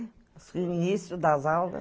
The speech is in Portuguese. No início das aulas.